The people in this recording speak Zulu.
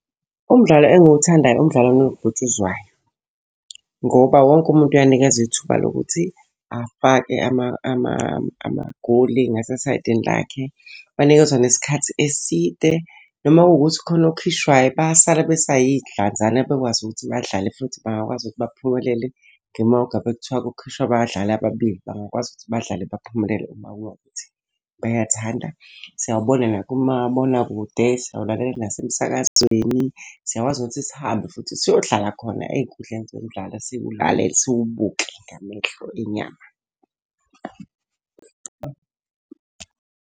Umdlalo engiwuthandayo umdlalo kanobhutshuzwayo. Ngoba wonke umuntu uyanikezwa ithuba lokuthi afake amagoli ngasesayidini lakhe. Banikezwa nesikhathi eside noma kuwukuthi khona okhishwayo bayasala besayidlanzana bekwazi ukuthi badlale. Futhi bangakwazi ukuthi baphumelele noma ngabe kuthiwa kukhishwa abadlali ababili, bangakwazi ukuthi badlale baphumelele uma kuba wukuthi bayathanda. Siyawabona nakumabonakude, siyawulalela nasemsakazweni. Siyakwazi ukuthi sihambe futhi siyohlala khona ey'nkundleni zemidlalo siwulalele siwubuke ngamehlo enyama.